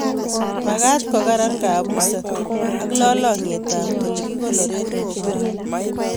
magat ko karan kabuset ak lalangiet ab ole kikonoree koko